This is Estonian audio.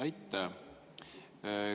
Aitäh!